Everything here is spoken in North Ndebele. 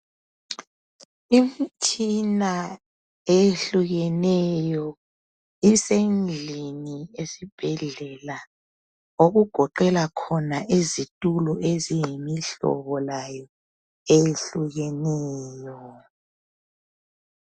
Imtshina eyehlukeneyo isendlini esibhedlela okugoqela khona izitulo eziyimihlobo layo eyehlukeneyo